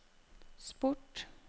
sport